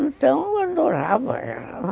Então eu adorava ela.